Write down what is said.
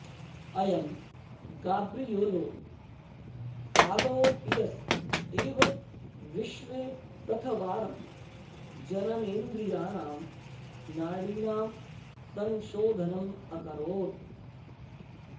अयं Gabriello Fallopius एव विश्वे प्रथवारं जननेन्द्रयाणां नाडीनां संशोधनम् अकरोत्